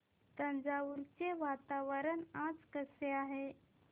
तंजावुर चे वातावरण आज कसे आहे